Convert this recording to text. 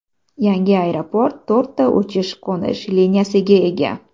Yangi aeroport to‘rtta uchish-qo‘nish liniyasiga ega.